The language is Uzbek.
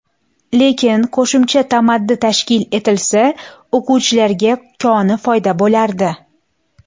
Lekin qo‘shimcha tamaddi tashkil etilsa, o‘quvchilarga koni foyda bo‘lardi.